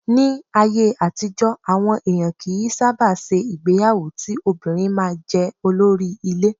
Ní ayé àtijọ́, àwọn èèyàn kì í sábà ṣe ìgbéyàwó ti obìnrin máa jẹ́ olórí ilé.